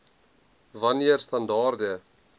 wan neer standaarde